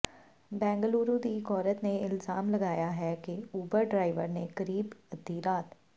ਬੇਂਗਲੁਰੂ ਦੀ ਇੱਕ ਔਰਤ ਨੇ ਇਲਜ਼ਾਮ ਲਗਾਇਆ ਹੈ ਕਿ ਉਬਰ ਡਰਾਇਵਰ ਨੇ ਕਰੀਬ ਅੱਧੀ ਰਾਤ